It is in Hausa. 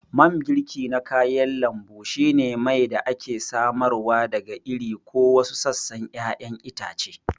Mangirki na kayan lambu shine mai da ake samarwa daga iri ko wasu sassan ƴaƴan itace.